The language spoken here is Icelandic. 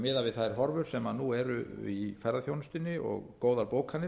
miðað við þær horfur sem nú eru í ferðaþjónustunni og góðar bókanir